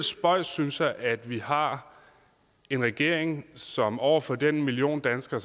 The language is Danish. spøjst synes jeg at vi har en regering som over for den million danskere